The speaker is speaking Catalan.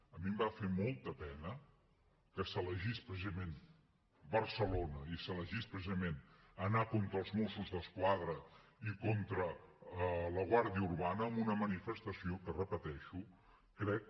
a mi em va fer molta pena que s’elegís precisament barcelona i s’elegís precisament anar contra els mossos d’esquadra i contra la guàrdia urbana en una manifestació que ho repeteixo crec